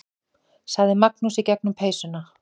sagði Magnús í gegnum peysuna.